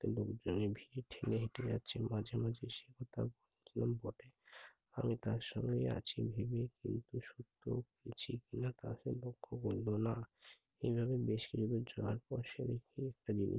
ঘাটে লোকজনের ভীড় ঠেলে হেটে যাচ্ছেন মাঝে মাঝে সে তার পথে আমি তার সঙ্গে আছি ভেবে কিন্তু সুপ্ত আছি কি না তা সে লক্ষ্য করল না। এভাবে বেশ কিছুদূর যাওয়ার পর সে দেখে একটা জিনিস